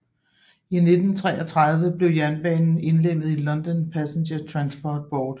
I 1933 blev jernbanen indlemmet i London Passenger Transport Board